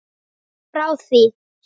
Frá því